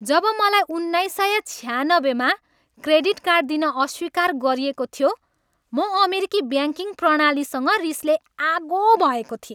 जब मलाई सन् उन्नाइस सय छयानब्बेमा क्रेडिट कार्ड दिन अस्वीकार गरिएको थियो, म अमेरिकी ब्याङ्किङ प्रणालीसँग रिसले आगो भएको थिएँ।